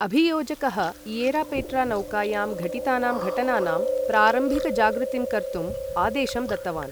अभियोजकः Ierapetra नौकायां घटितानां घटनानां प्रारम्भिकजागृतिं कर्तुं आदेशं दत्तवान् ।